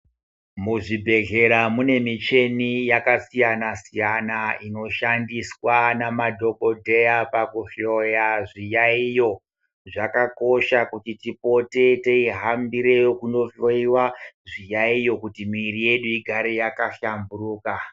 Muzvibhedhleya mune muchini yakasiyana siyana inoshandiswa namadhokodheya pakuhliya zviyaiyo, zvakakosha kuti tihambire kunohloyiwa zviyaiyo kuti miiri yedu igare yakahlamburuka.